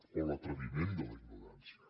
o l’atreviment de la ignorància